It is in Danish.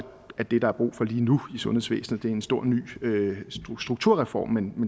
at det der er brug for lige nu i sundhedsvæsenet er en stor ny strukturreform men